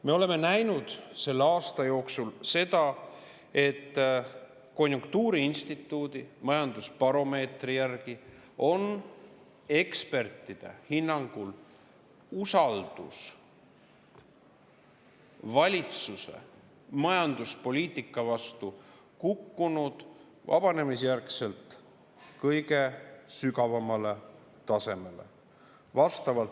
Me oleme näinud selle aasta jooksul seda, et konjunktuuriinstituudi majandusbaromeetri järgi on ekspertide hinnangul usaldus valitsuse majanduspoliitika vastu kukkunud vabanemisjärgselt kõige sügavamale tasemele.